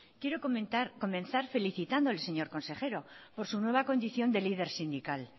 quiero comenzar felicitando al señor consejero por su nueva condición de líder sindical